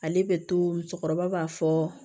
Ale bɛ to musokɔrɔba b'a fɔ